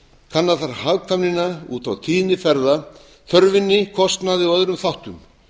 kanna þarf hagkvæmnina út frá tíðni ferða þörfinni kostnaði og öðrum þáttum